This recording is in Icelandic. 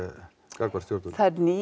gagnvart þessu